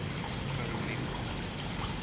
karolina